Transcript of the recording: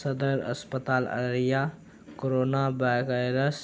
सदर अस्पताल अररिया करोना वाय वायरस ।